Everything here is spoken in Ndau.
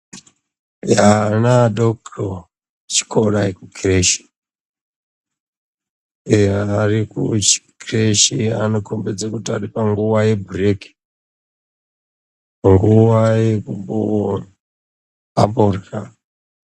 Ana adoko echikora ekukireshi anokombedze kuti aripanguva yebhureki ,nguva yekuti amborya.